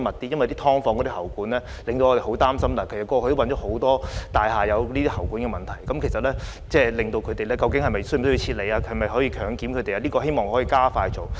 因為"劏房"的喉管令我們十分擔心，過去亦發現很多大廈有喉管問題，究竟居民是否需要撤離和可否進行強檢等，我希望政府可以加快進行這方面的工作。